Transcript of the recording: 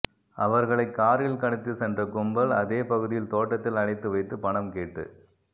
அவர்களை காரில் கடத்தி சென்ற கும்பல் அதே பகுதியில் தோட்டத்தில் அடைத்து வைத்து பணம் கேட்டு